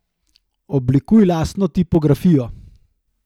Oblikuj lastno tipografijo.